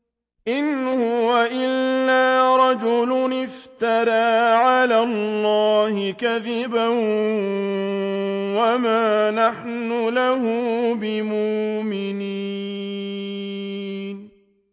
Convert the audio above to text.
إِنْ هُوَ إِلَّا رَجُلٌ افْتَرَىٰ عَلَى اللَّهِ كَذِبًا وَمَا نَحْنُ لَهُ بِمُؤْمِنِينَ